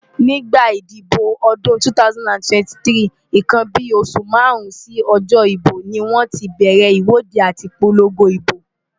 Nígbà ìdìbò ọdún 2023,nnkan bí oṣù márùn-ún sí ọjọ́ ìbò ni wọ́n ti bẹ̀rẹ̀ ìwọ́de àti ìpolongo ibo.